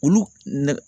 Olu nɛgɛ